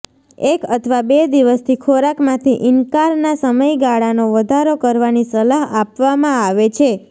એક અથવા બે દિવસથી ખોરાકમાંથી ઇનકારના સમયગાળાનો વધારો કરવાની સલાહ આપવામાં આવે છે